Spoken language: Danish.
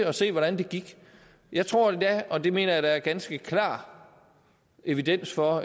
at se hvordan det gik jeg tror endda og det mener jeg der er ganske klar evidens for